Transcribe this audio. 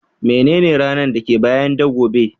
Menene ranan da ke biye da gobe?